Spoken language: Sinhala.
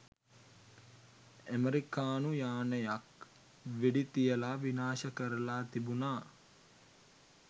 ඇමරිකානු යානයක් වෙඩි තියලා විනාශ කරලා තිබුනා.